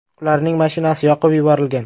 Ularning mashinasi yoqib yuborilgan.